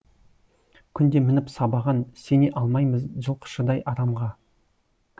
күнде мініп сабаған сене алмаймыз жылқышыдай арамға